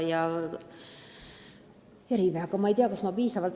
Ma ei tea, kas mu vastusest piisab.